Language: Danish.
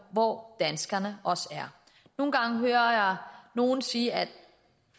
hvor danskerne er nogle gange hører jeg nogle sige at